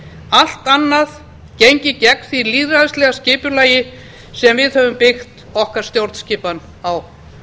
allt annað gengi gegn því lýðræðislega skipulagi sem við höfum byggt stjórnskipan okkar á